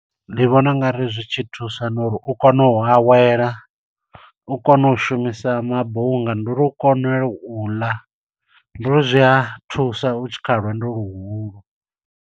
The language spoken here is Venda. Ndi vhona ungari zwi tshi thusa no uri u kone u awela, u kone u shumisa mabunga, ndi uri u kone u ḽa. Ndi uri zwi a thusa u tshi kha lwendo luhulu.